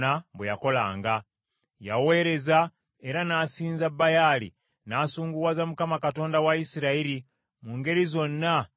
Yaweereza era n’asinza Baali, n’asunguwaza Mukama Katonda wa Isirayiri, mu ngeri zonna nga kitaawe bwe yakola.